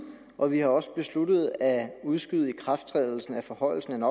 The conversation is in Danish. og vi har også besluttet at udskyde ikrafttrædelsen af forhøjelsen